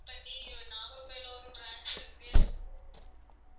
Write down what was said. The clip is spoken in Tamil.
Call பண்ணி நாகர்கோவில்ல ஒரு branch இருக்கு